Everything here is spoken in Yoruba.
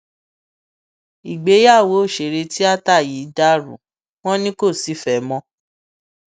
ìgbéyàwó òṣèré tíátà yìí ti dàrú wọn ni kò sífẹẹ mọ